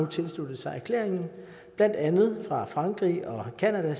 tilsluttet sig erklæringen blandt andet frankrig og canada